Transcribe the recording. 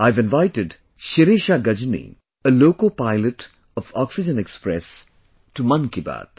I have invited Shirisha Gajni, a loco pilot of Oxygen Express, to Mann Ki Baat